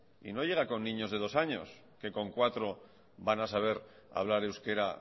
y no llega con niños de dos años que con cuatro van a saber hablar euskera